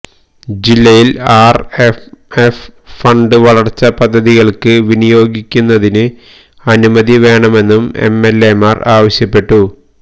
ജില്ലയില് RMF fund വരള്ച്ചാ പദ്ധതികള്ക്ക് വിനിയോഗിക്കുന്നതിന് അനുമതി വേണമെന്നും എംഎല്എമാര് ആവശ്യപ്പെട്ടു